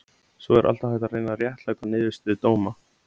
Svo er alltaf hægt að reyna réttlæta niðurstöðu dóma.